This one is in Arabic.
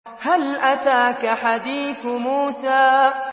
هَلْ أَتَاكَ حَدِيثُ مُوسَىٰ